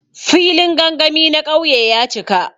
Filin gangami na ƙauye ya cika.